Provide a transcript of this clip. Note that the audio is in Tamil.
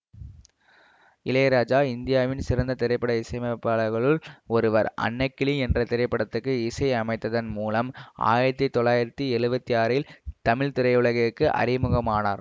இளையராஜா இந்தியாவின் சிறந்த திரைப்பட இசையமைப்பாளர்களுள் ஒருவர் அன்னக்கிளி என்ற திரைப்படத்துக்கு இசை அமைத்ததன் மூலம் ஆயிரத்தி தொள்ளாயிரத்தி எழுவத்தி ஆறில் தமிழ் திரையுலகிற்கு அறிமுகமானார்